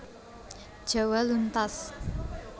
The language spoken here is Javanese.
Jawa luntas